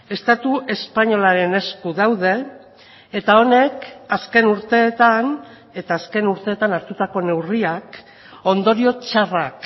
estatu espainolaren esku daude eta honek azken urteetan eta azken urteetan hartutako neurriak ondorio txarrak